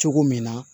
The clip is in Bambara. Cogo min na